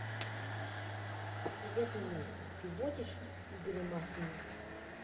посоветуй мне ты водишь игоря масленникова